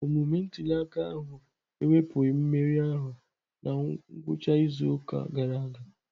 Omume ntuli aka ahụ ewepụghị mmeri ahụ na ngwụcha izu ụka gara aga.